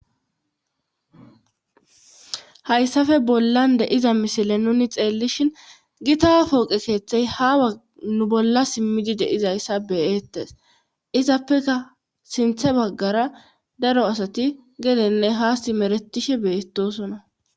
hayssafe bollan deiza misile nuni xeellishin gitapooqe keettey hanu bolla simmidi deizayssa beyeettes izappeka sinthe baggara daro asati gelenne haasti meretishe beetosona